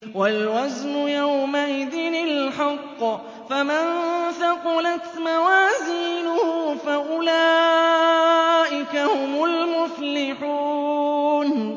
وَالْوَزْنُ يَوْمَئِذٍ الْحَقُّ ۚ فَمَن ثَقُلَتْ مَوَازِينُهُ فَأُولَٰئِكَ هُمُ الْمُفْلِحُونَ